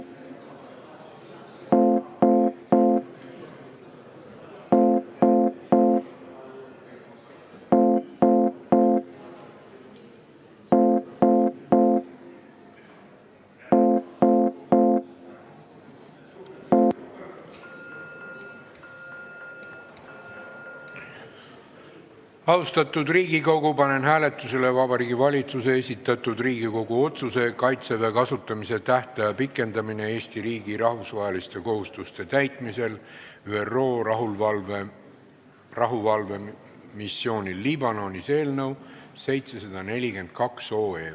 Austatud Riigikogu, panen hääletusele Vabariigi Valitsuse esitatud Riigikogu otsuse "Kaitseväe kasutamise tähtaja pikendamine Eesti riigi rahvusvaheliste kohustuste täitmisel ÜRO rahuvalvemissioonil Liibanonis" eelnõu 742.